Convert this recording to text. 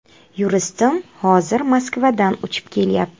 Yuristim hozir Moskvadan uchib kelyapti.